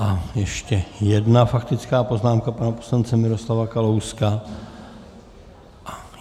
A ještě jedna faktická poznámka pana poslance Miroslava Kalouska.